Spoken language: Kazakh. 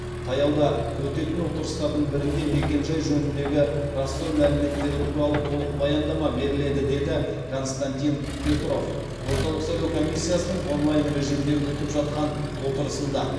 таяуда өтетін отырыстардың бірінде мекенжай жөніндегі растау мәліметтері туралы толық баяндама беріледі деді константин петров орталық сайлау комиссиясының онлайн режимінде өтіп жатқан отырысында